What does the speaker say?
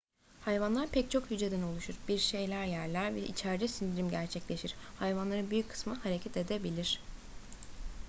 hayvanlar pek çok hücreden oluşur bir şeyler yerler ve içeride sindirim gerçekleşir hayvanların büyük kısmı hareket edebilir